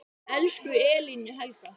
Elsku Elín Helga.